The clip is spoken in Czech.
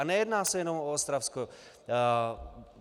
A nejedná se jenom o Ostravsko.